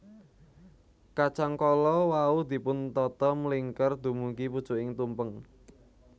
Kacang kala wau dipun tata mlingker dumugi pucuking tumpeng